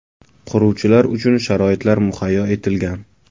Quruvchilar uchun sharoitlar muhayyo etilgan.